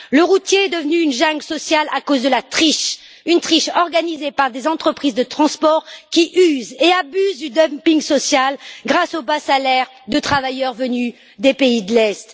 Le routier est devenu une jungle sociale à cause de la triche organisée par des entreprises de transport qui usent et abusent du dumping social grâce aux bas salaires de travailleurs venus des pays de l'Est.